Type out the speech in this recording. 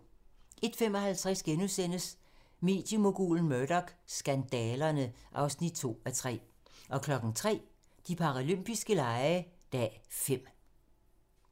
01:55: Mediemogulen Murdoch: Skandalerne (2:3)* 03:00: De paralympiske lege - dag 5